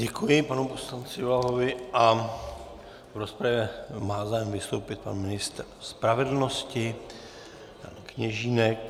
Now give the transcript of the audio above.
Děkuji panu poslanci Blahovi a v rozpravě má zájem vystoupit pan ministr spravedlnosti Kněžínek.